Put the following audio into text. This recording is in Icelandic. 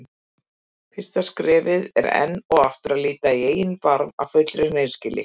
Fyrsta skrefið er enn og aftur að líta í eigin barm af fullri hreinskilni.